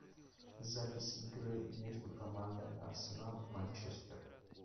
запись игры между командами арсенал манчестер